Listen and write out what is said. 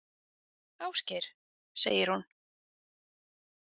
Ásgeir, segir hún.